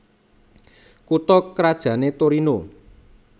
Kutha krajané Torino